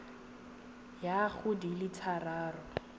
ya go di le thataro